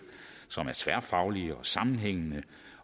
som er tværfaglige og sammenhængende